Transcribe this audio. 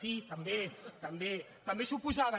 sí també també també s’hi oposaven